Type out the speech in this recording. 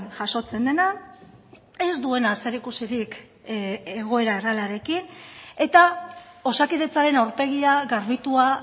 jasotzen dena ez duena zerikusirik egoera errealarekin eta osakidetzaren aurpegia garbitua